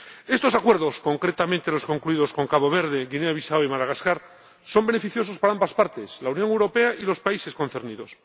Estos acuerdos, concretamente los concluidos con Cabo Verde, Guinea Bisáu y Madagascar, son beneficiosos para ambas partes la Unión Europea y los países concernidos.